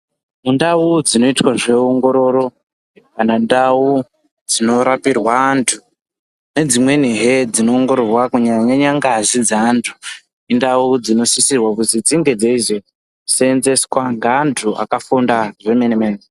Mundau dzinoitwa zveongororo, kana ndau dzinorapirwa antu, nedzimwenihe dzinoongororwa kunyanya-nyanya ngazi dzeantu, indau dzinosisirwa kuti dzinge dzeizoseenzeswa ngeantu akafunda zvemene-mene.